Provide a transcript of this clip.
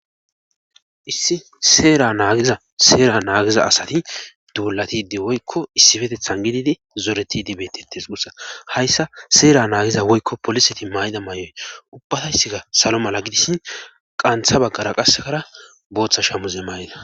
issi seera naagiza seera naagiza asati duulatidi woykko issifetethan gididi zoreti dibetetes ussa hayssa seera naagiza woykko poliseti mayda may7oy ubbatayssikka salo mala gidisshi qantha baggara qasekara booththa shamuze mayda